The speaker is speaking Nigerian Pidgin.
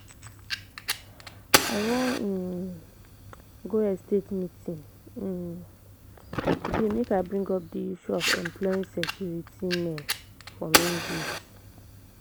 I wan um go estate meeting um today make I bring up the issue of employing security men for main gate.